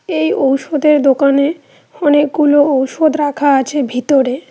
এই ঔষধের দোকানে অনেকগুলো ঔষধ রাখা আছে ভিতরে।